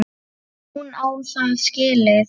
Hún á það skilið.